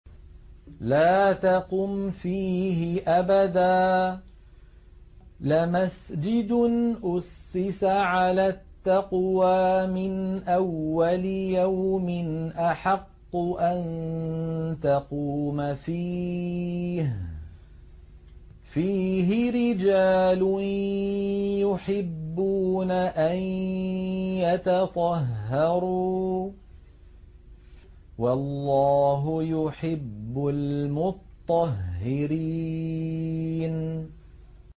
لَا تَقُمْ فِيهِ أَبَدًا ۚ لَّمَسْجِدٌ أُسِّسَ عَلَى التَّقْوَىٰ مِنْ أَوَّلِ يَوْمٍ أَحَقُّ أَن تَقُومَ فِيهِ ۚ فِيهِ رِجَالٌ يُحِبُّونَ أَن يَتَطَهَّرُوا ۚ وَاللَّهُ يُحِبُّ الْمُطَّهِّرِينَ